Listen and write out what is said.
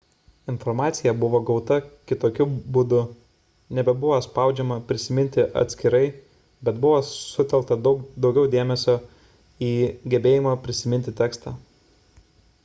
informacija buvo gauta kitokiu būdu.nebebuvo spaudžiama prisiminti atskirai bet buvo sutelkta daugiau dėmesio į gebėjimą prisiminti tekstą